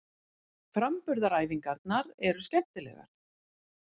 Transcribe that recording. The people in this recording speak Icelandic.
Framburðaræfingarnar eru skemmtilegar.